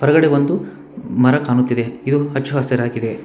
ಎದ್ರುಗಡೆ ಒಂದು ಮರ ಕಾಣುತ್ತಿದೆ ಇದು ಹಚ್ಚಹಸಿರಾಗಿದೆ.